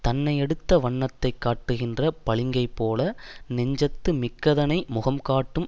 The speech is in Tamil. தன்னையடுத்த வண்ணத்தைக் காட்டுகின்ற பளிங்கைப்போல நெஞ்சத்து மிக்கதனை முகம் காட்டும்